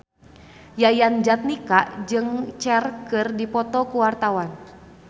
Yayan Jatnika jeung Cher keur dipoto ku wartawan